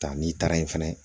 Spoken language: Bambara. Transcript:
Taa n'i taara yen fɛnɛ